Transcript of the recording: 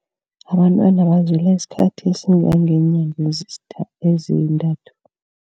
Abantwana bazila isikhathi esingangeenyanga ezintathu.